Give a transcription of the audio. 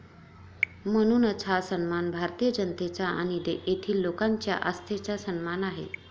म्हणूनच हा सन्मान भारतीय जनतेचा आणि येथील लोकांच्या आस्थेचा सन्मान आहे.